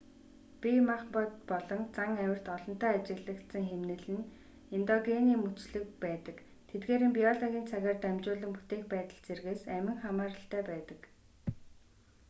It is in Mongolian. бие махбод болон зан авирт олонтаа ажиглагдсан хэмнэл нь эндогенийн мөчлөг байдаг тэдгээрийн биологийн цагаар дамжуулан бүтээх байдал зэргээс амин хамааралтай байдаг